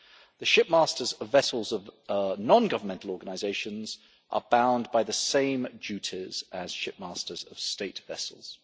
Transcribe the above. The ship masters vessels of nongovernmental organisations are bound by the same duties as ship masters of state vessels.